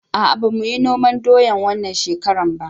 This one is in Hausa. A'a ba muyi noman doya wannan shekara ba